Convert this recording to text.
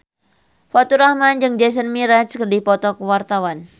Faturrahman jeung Jason Mraz keur dipoto ku wartawan